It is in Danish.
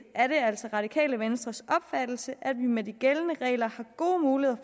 er det altså det radikale venstres opfattelse at vi med de gældende regler har gode